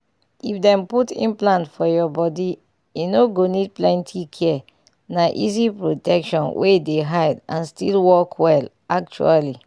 if dem put implant for your body e no need plenty care na easy protection wey dey hide and still work well actually.